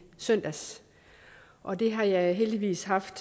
søndags og det har jeg heldigvis haft